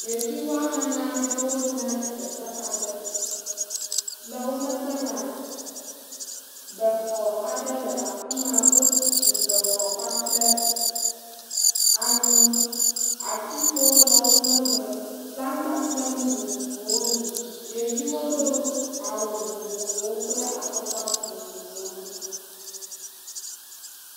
Ɖevi woame ene aɖewo yina ɖe teƒe aɖe. Le wò megbe la, be xɔ aɖe le afima. Wotu be xɔɖe anyi. Atikpowo le wò megbe. Ƒlangba kple nu vovovowo li. Ɖeviwo do awu vovovowo kple afɔkpa vovovowo.